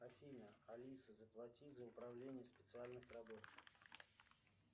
афина алиса заплати за управление специальных работ